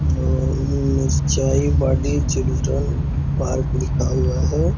जो Mirchai Bari children park लिखा हुआ है।